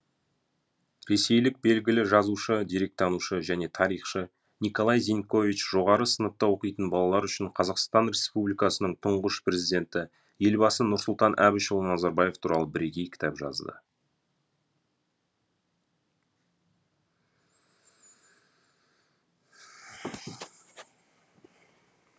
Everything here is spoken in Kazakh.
ресейлік белгілі жазушы деректанушы және тарихшы николай зенькович жоғары сыныпта оқитын балалар үшін қазақстан республикасының тұңғыш президенті елбасы нұрсұлтан әбішұлы назарбаев туралы бірегей кітап жазды